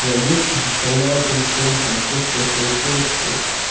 вологодский доставляла тем что он там постил свои фоточки